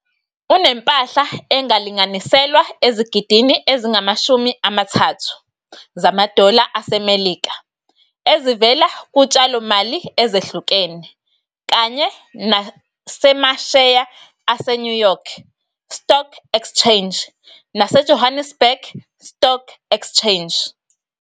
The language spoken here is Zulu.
Unempahla engalinganiselwa ezigidini ezingama-30 zamadola aseMelika ezivela kutshalo-mali ezehlukene kanye nasemasheya aseNew York Stock Exchange naseJohannesburg Stock Exchange.